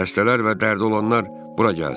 Xəstələr və dərdi olanlar bura gəlsin!"